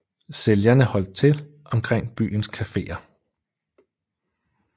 Sælgerne holdt til omkring i byens kaféer